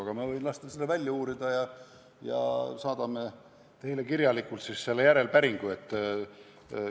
Aga ma võin lasta selle välja uurida ja me saadame teile selle päringu kirjalikult.